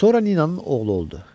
Sonra Ninanın oğlu oldu.